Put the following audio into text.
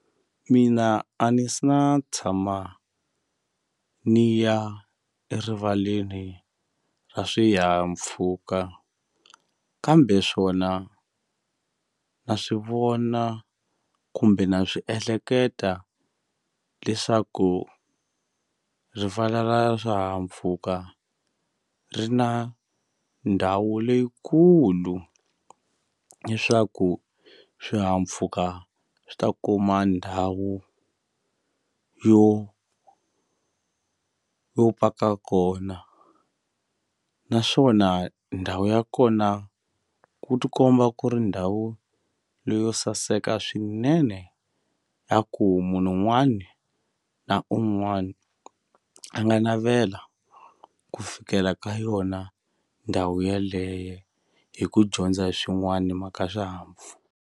Mina a ni se na tshama ni ya erivaleni ra swihahampfhuka kambe swona na swivona kumbe na swi ehleketa leswaku rivala ra swihahampfhuka ri na ndhawu leyikulu leswaku swihahampfuka swi ta kuma ndhawu yo yo paka kona naswona ndhawu ya kona ku tikomba ku ri ndhawu leyo saseka swinene ya ku munhu un'wani na un'wani a nga navela ku fikela ka yona ndhawu yeleye hi ku dyondza swin'wani himhaka .